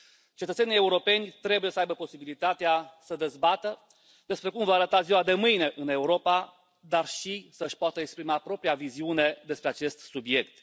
Cetățenii europeni trebuie să aibă posibilitatea să dezbată despre cum va arăta ziua de mâine în Europa, dar și să își poată exprima propria viziune despre acest subiect.